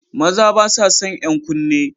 Maza ba sa san 'yan kunne